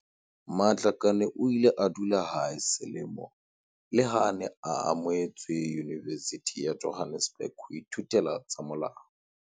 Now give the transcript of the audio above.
Matlakane o ile a dula hae selemo leha a ne a amohetswe Yunivesithing ya Johannesburg ho ithutela tsa molao.